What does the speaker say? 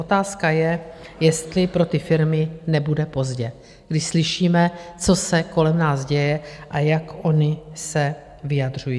Otázka je, jestli pro ty firmy nebude pozdě, když slyšíme, co se kolem nás děje a jak ony se vyjadřují.